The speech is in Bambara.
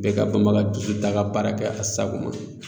Bɛɛ ka banbaga dusuta ka baara kɛ a sago ma